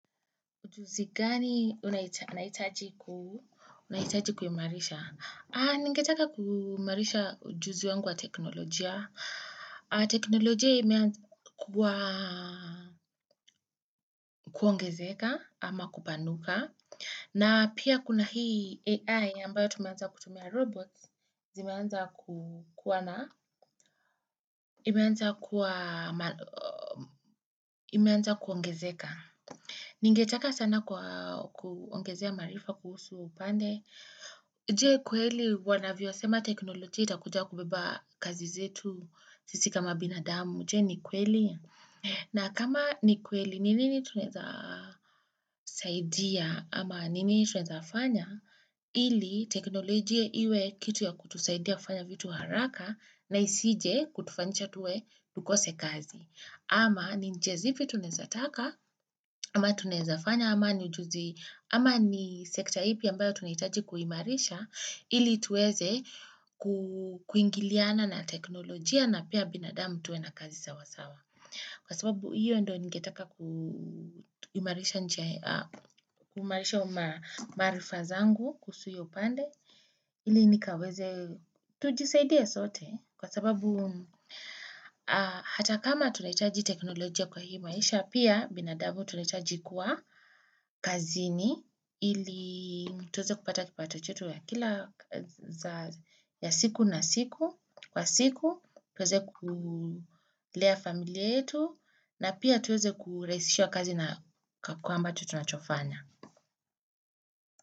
Ujuzi gani unahitaji kuimarisha? Ningetaka kuumarisha ujuzi wangu wa teknolojia. Teknolojia imeanza kuongezeka ama kupanuka. Na pia kuna hii AI ambayo tumeanza kutumia robots, zimeanza kukuwa na. Imeanza kuongezeka. Ningetaka sana kwa kuongezea maarifa kuhusu upande. Je, kweli wanavyo sema teknolojia itakuja kubeba kazi zetu sisi kama binadamu. Je, ni kweli? Na kama ni kweli ni nini tunaweza saidia ama nini tunaweza fanya ili teknolojia iwe kitu ya kutusaidia kufanya vitu haraka na isije kutufanisha tuwe tukose kazi. Ama ni njia zipi tunaezataka, ama tunawezafanya, ama ni sekta ipi ambayo tunihitaji kuhimarisha ili tuweze kuingiliana na teknolojia na pia binadamu tuwe na kazi sawasawa. Kwa sababu hiyo ndio ningetaka kuimarisha maarifa zangu kuhusu hiyo upande ili nikaweze tujisaidie sote kwa sababu hata kama tunahitaji teknolojia kwa hii maisha pia binadamu tunahitaji kuwa kazini ili tuweze kupata kipato chetu ya kila ya siku na siku kwa siku tuweze kulea familia yetu na pia tuweze kurahisishiwa kazi na kwamba tunachofanya.